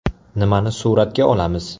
Nimani suratga olamiz?